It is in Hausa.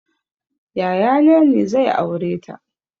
Yaya na ne zai aureta